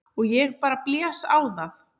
Og ég bara blæs á það.